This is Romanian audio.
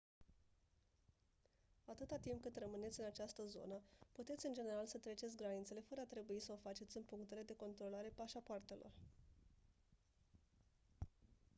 atâta timp cât rămâneți în această zonă puteți în general să treceți granițele fără a trebui să o faceți în punctele de control ale pașapoartelor